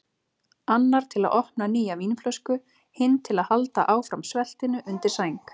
Annar til að opna nýja vínflösku, hinn til að halda áfram sveltinu undir sæng.